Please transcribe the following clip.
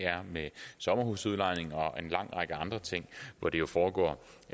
med sommerhusudlejning og en lang række andre ting hvor det jo foregår